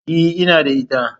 E, ina da ita.